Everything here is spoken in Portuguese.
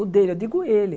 O dele, eu digo ele.